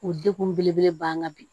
O degun belebele banga bi